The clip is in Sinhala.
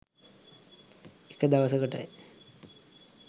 එක දවසකටයි.